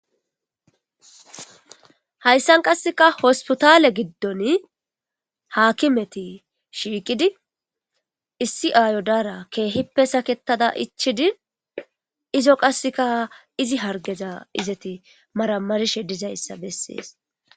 Hayssan qassikka hospitale giddon haakimeti shiiqidi issi aayo daara keehippe saketada ichchidi izo qassikka izi harggeza izeti maramarishe dizayssa besses.